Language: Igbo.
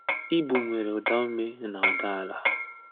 Igbo nwere udaume na uda ala